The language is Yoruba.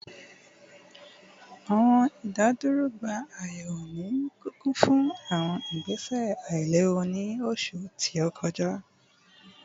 Awọn idaduro gba ayẹwo ni kikun fun awọn igbese ailewu ni oṣu to kọja